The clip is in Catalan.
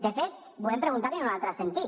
de fet volem preguntar li en un altre sentit